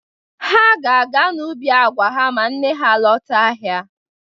Ha ga-aga n'ubi agwa ha ma nne ha lọta ahịa.